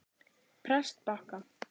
Prestbakka